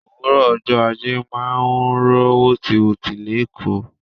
Òwúrò ọjọ́ ajé máa ń rọ wotiwoti l'ekoo.